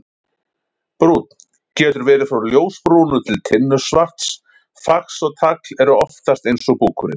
Brúnn: Getur verið frá ljósbrúnu til tinnusvarts, fax og tagl eru oftast eins og búkurinn.